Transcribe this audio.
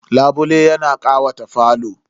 Labule yana ƙawata falo.